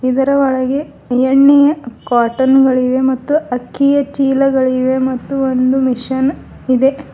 ಇದರ ಒಳಗೆ ಎಣ್ಣೆಯ ಕಾಟನ್ ಗಳಿವೆ ಮತ್ತು ಅಕ್ಕಿಯ ಚೀಲಗಳಿವೆ ಮತ್ತು ಒಂದು ಮಿಷನ್ ಇದೆ.